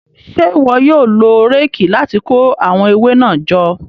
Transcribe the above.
Ṣe iwọ yóò lo réèkì láti ko awọn ewe náà jọ?